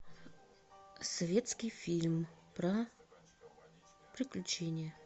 советский фильм про приключения